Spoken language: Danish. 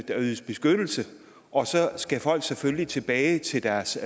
der ydes beskyttelse og så skal folk selvfølgelig tilbage til deres